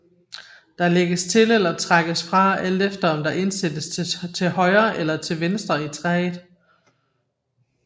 Der lægges til eller trækkes fra alt efter om der indsættes til højre eller til venstre i træet